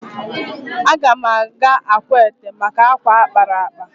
Aga m aga Akwete maka akwa a kpara akpa